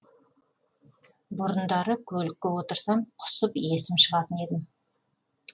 бұрындары көлікке отырсам құсып есім шығатын едім